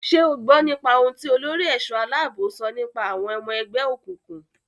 Ṣé o gbọ́n nípa ohun tí olórí ẹ̀ṣọ́-aláàbò sọ nípa àwọn ọmọ ẹgbẹ́ òkùnkùn.